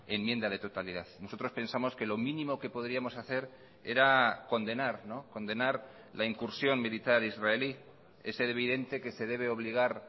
enmienda de totalidad nosotros pensamos que lo mínimo que podríamos hacer era condenar condenar la incursión militar israelí es evidente que se debe obligar